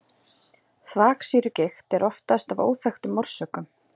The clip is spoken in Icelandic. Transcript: Þvagsýrugigt er oftast af óþekktum orsökum.